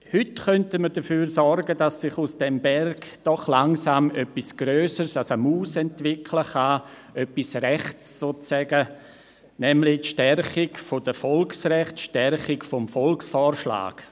Heute könnten wir dafür sorgen, dass sich aus diesem Berg doch langsam etwas Grösseres als eine Maus entwickeln kann, etwas Rechtes, sozusagen, nämlich die Stärkung der Volksrechte, die Stärkung des Volksvorschlags.